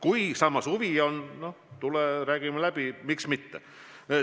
Kui aga huvi on, noh, tule, räägime läbi – miks mitte.